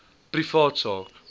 privaat sak